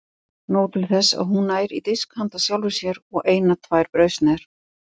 Nóg til þess að hún nær í disk handa sjálfri sér og eina tvær brauðsneiðar.